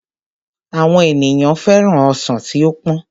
Àwọn ènìyàn féràn ọsàn tí ó pọ́n